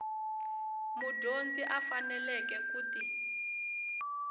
mudyondzi a faneleke ku ti